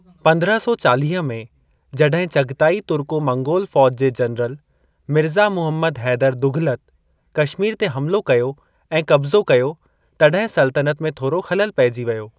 पंद्रहं सौ चालीह में, जॾहिं चगताई तुर्को-मंगोल फौज जे जनरल मिर्ज़ा मुहम्मद हैदर दुघलत कशमीर ते हमलो कयो ऐं कब्ज़ो कयो, तॾहिं सल्तनत में थोरो ख़लल पेइजी वियो।